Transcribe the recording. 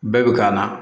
Bɛɛ bɛ k'a la